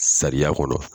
Sariya kɔnɔ